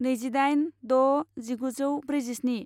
नैजिदाइन द' जिगुजौ ब्रैजिस्नि